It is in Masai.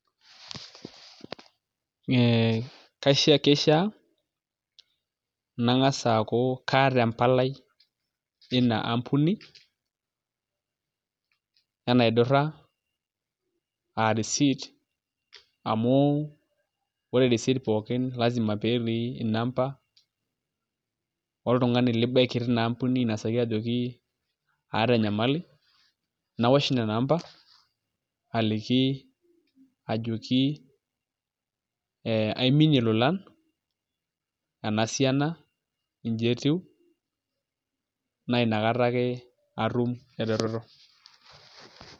Ee kishaa nangas aaku kaata empalai teina ampuni enaidura aa risiit amu ore risiit poookin lazima peetii inamba oltungani libaiki tina ampuni ainosaki ajoki aata enyamali nawosh nena amba aliki ajoki ee aiminie ilolon ena sian, inji etiu naa nakata ake atua ereteto.